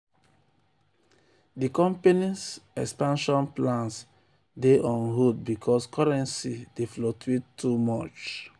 di company's expansion plans dey on hold because currency dey fluctuate too much.